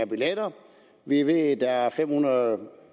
billetter vi ved at der er afsat fem hundrede